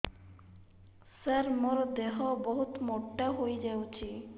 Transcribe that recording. ସାର ମୋର ଦେହ ବହୁତ ମୋଟା ହୋଇଯାଉଛି